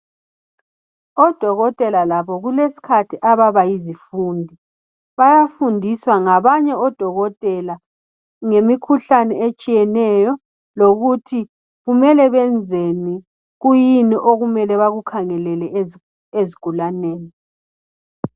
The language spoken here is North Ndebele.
Odokotela labo kulesikhathi ababalhona yizifundi bayafundiswa ngabanye odokotela ngemikhuhlane etshiyeneyo lokuthi kumele benzeni kuyini okumele bakukhangelele ezigulaneni